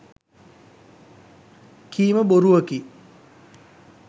කීම බොරුවකි.